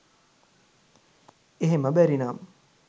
එහෙම බැරිනම්